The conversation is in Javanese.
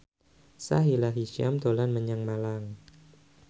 Sahila Hisyam dolan menyang Malang